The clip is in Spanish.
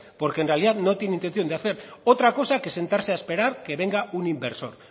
porque en realidad no tiene intención de hacer otra cosa que sentarse a esperar que venga un inversos